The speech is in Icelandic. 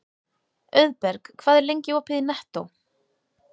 Auðberg, hvað er lengi opið í Nettó?